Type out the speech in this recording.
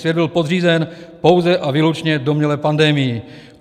Svět byl podřízen pouze a výlučně domnělé pandemii.